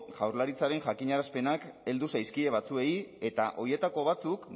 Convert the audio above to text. jaurlaritzaren jakinarazpenak heldu zaizkie batzuei eta horietako batzuk